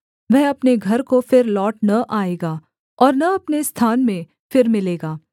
वह अपने घर को फिर लौट न आएगा और न अपने स्थान में फिर मिलेगा